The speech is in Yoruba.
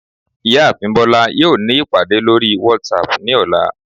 ìyáàfín bolá yọọ ní ipadé lorí watsap ní ọla